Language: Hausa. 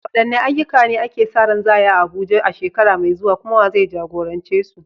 Wadanne ayyuka ne ake sa ran za a yi a Abuja a shekara mai zuwa, kuma wa zai jagorance su?